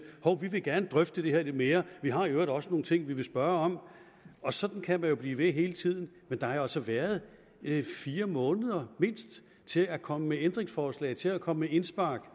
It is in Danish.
hov vi vil gerne drøfte det her lidt mere vi har i øvrigt også nogle ting vi vil spørge om sådan kan man jo blive ved hele tiden men der har jo altså været mindst fire måneder til at komme med ændringsforslag til at komme med indspark